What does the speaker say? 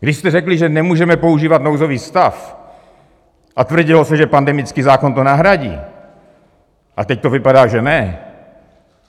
Když jste řekli, že nemůžeme používat nouzový stav, a tvrdilo se, že pandemický zákon to nahradí, a teď to vypadá, že ne,